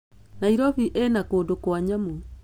Nairobi ĩna kũndũ kwa nyamũ.